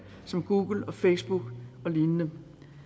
som google facebook og lignende